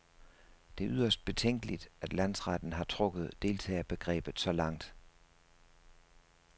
Det er yderst betænkeligt, at landsretten har trukket deltagerbegrebet så langt.